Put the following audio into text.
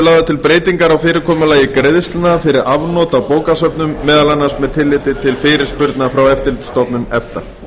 lagðar til breytingar á fyrirkomulagi greiðslna fyrir afnot á bókasöfnum meðal annars með tilliti til fyrirspurna frá eftirlitsstofnun efta